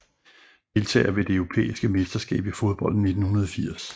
Deltagere ved det europæiske mesterskab i fodbold 1980